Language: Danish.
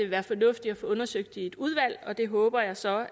være fornuftigt at få undersøgt det i et udvalg og det håber jeg så